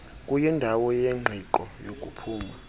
kuyindawo yengqiqo yokuphuma